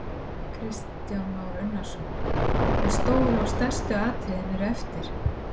Kristján Már Unnarsson: En stóru og stærstu atriðin eru eftir?